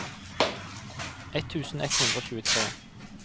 ett tusen ett hundre og tjuetre